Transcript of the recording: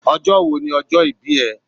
Ọjọ́ wo ni ọjọ́ ìbí ẹ?